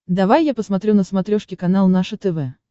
давай я посмотрю на смотрешке канал наше тв